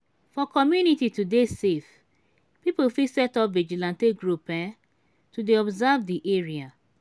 for community to dey safe pipo fit set up vigilante group um to dey observe di area